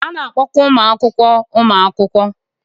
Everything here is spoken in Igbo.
A na-akpọkwa ụmụ akwụkwọ ụmụ akwụkwọ.